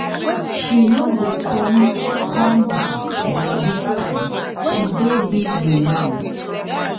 She no go come come back by dis time. She dey busy now.